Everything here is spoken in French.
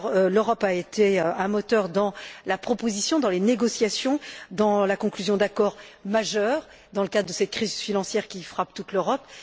L'Europe a été un moteur dans la proposition, les négociations et la conclusion d'accords majeurs dans le cadre de cette crise financière qui frappe toute l'Europe.